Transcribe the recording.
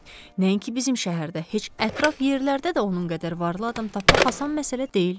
Nəinki bizim şəhərdə, heç ətraf yerlərdə də onun qədər varlı adam tapmaq asan məsələ deyil.